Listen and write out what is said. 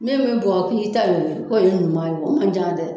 N be min bɔ ni tan y'o ye k'o ye ɲuman ye o man ca dɛ